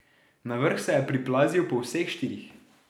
Na vrh se je priplazil po vseh štirih.